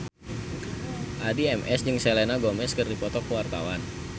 Addie MS jeung Selena Gomez keur dipoto ku wartawan